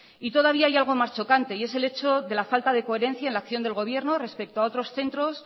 y todavía hay algo más chocante y es el hecho de la falta de coherencia en la acción del gobierno respecto a otros centros